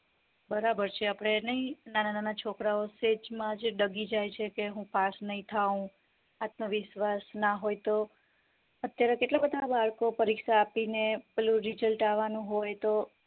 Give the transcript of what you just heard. બરાબર છે આપડે નય નાના નાના છોકરાઓ માં જે ડગી જાય છે કે હું pass નય થાવ આત્મવિશ્વાસ ના હોય તો અત્યારે કેટલા બધા બાળકો પરીક્ષા આપી ને પેલું result આવાનું હોય તો